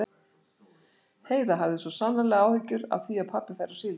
Heiða hafði svo sannarlega áhyggjur af því að pabbi færi á síld.